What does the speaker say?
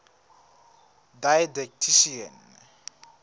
didactician